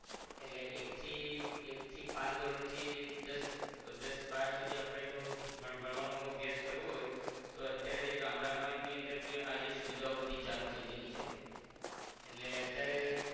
એટલે એક થી એક થી પાંચ ધોરણ થી દસ દસ બાર સુધી આપરે જો પણ ભણવાનો અભ્યાસ કરવો હોય તો અત્યારે જે ગામડામાં ની અંદર ભી આ જે સુવિધાઓ બધી ચાલુ થઈ ગયેલી છે એટલે અત્યારે